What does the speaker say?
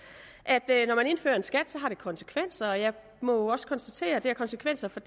at når man indfører en skat har det konsekvenser jeg må jo også konstatere at det har konsekvenser for